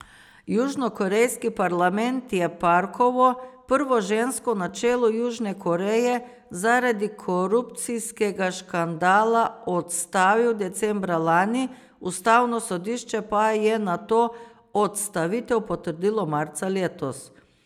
Južnokorejski parlament je Parkovo, prvo žensko na čelu Južne Koreje, zaradi korupcijskega škandala odstavil decembra lani, ustavno sodišče pa je nato odstavitev potrdilo marca letos.